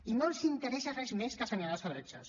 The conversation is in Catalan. i no els interessa res més que assenyalar els heretges